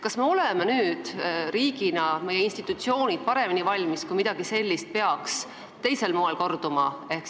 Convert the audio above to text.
Kas me oleme nüüd riigina, kas meie institutsioonid on nüüd paremini valmis, kui midagi sellist peaks teisel moel korduma?